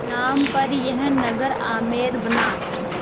नाम पर यह नगर आमेर बना